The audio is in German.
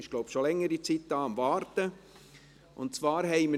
ich glaube, sie ist schon längere Zeit da und war am Warten.